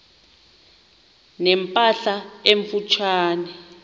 ne mpahla emfutshane